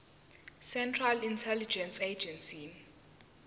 central intelligence agency